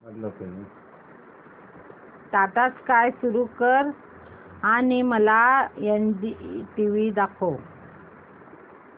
Tata sky सुरू कर आणि मला एनडीटीव्ही दाखव